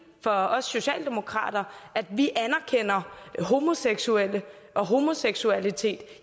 for os socialdemokrater at vi anerkender homoseksuelle og homoseksualitet